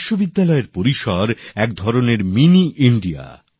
বিশ্ববিদ্যালয়ের পরিসর এক ধরনের মিনি ইন্ডিয়া